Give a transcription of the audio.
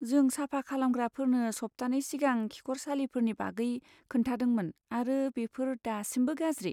जों साफा खालामग्राफोरनो सप्तानै सिगां खिखरसालिफोरनि बागै खोन्थादोंमोन आरो बेफोर दासिमबो गाज्रि।